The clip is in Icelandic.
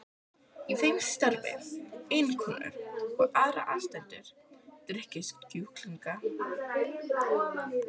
Í þeim starfa eiginkonur og aðrir aðstandendur drykkjusjúklinga.